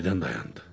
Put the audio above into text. Birdən dayandı.